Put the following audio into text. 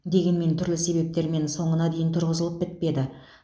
дегенмен түрлі себептермен соңына дейін тұрғызылып бітпеді